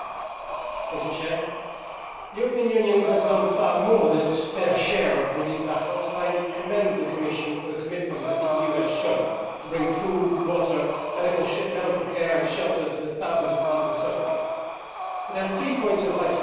Mr President, the European Union has done far more than its fair share of relief efforts, and I commend the Commission for the commitment that the EU has shown to bringing food, water, medical care and shelter to the thousands of people suffering. There are three points I would like to highlight here.